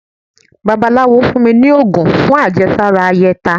bàbálawo fún mí ní ogún fún àjésárá áyetá